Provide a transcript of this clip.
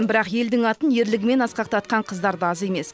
бірақ елдің атын ерлігімен асқақтатқан қыздарда аз емес